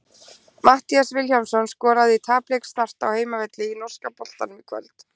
Matthías Vilhjálmsson skoraði í tapleik Start á heimavelli í norska boltanum í kvöld.